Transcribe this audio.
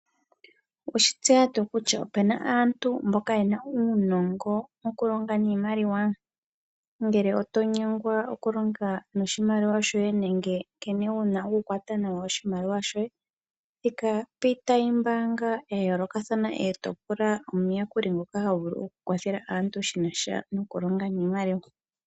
Oweshi tseya tuu kutya opena aantu mboka yena uunongo wokulonga niimaliwa ngele oto nyengwa okulonga noshi maliwa shoye nenge nkene wuna oku kwata nawa oshimaliwa shoye thika piitayi ombaanga yayoolakathana eto pula omuyakuli ngoka havulu oku kwathele aantu shinasha nokulonga niimaliwa.